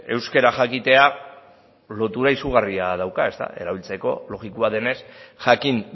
euskera jakitea lotura izugarria dauka erabiltzeko logikoa denez jakin